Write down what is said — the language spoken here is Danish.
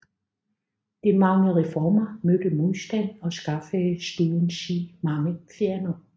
De mange reformer mødte modstand og skaffede Struensee mange fjender